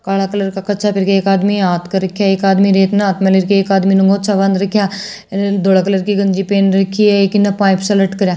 काला कलर का कच्छा पहर के एक आदमी इयां हाथ रख्या है एक आदमी रेत न हाथ में ले रख्या है एक आदमी में न गमछा बाँध रख्या धोला कलर की गंजी पहर रखी है एक इन्न पाइप सा लटक रख्या है।